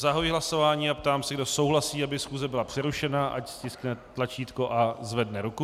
Zahajuji hlasování a ptám se, kdo souhlasí, aby schůze byla přerušena, ať stiskne tlačítko a zvedne ruku.